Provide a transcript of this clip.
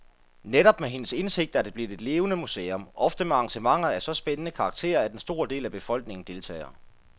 Netop med hendes indsigt er det blevet et levende museum, ofte med arrangementer af så spændende karakter, at en stor del af befolkningen deltager.